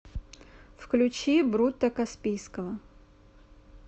включи брутто каспийского